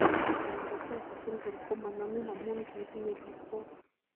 Empty sella syndrome komo nomin amun kitinye pikwok.